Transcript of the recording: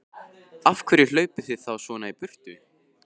Af hverju hlaupið þið þá svona í burtu?